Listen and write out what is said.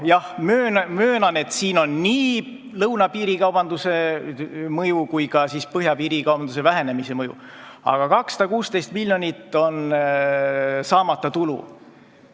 Ma möönan, et siin on oma mõju nii lõunapiiri piirikaubandusel kui ka põhjapiiril toimunud piirikaubanduse vähenemisel, aga 216 miljonit on saamata tulu.